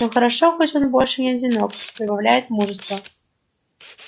но хорошо хоть он больше не одинок добавляет мужества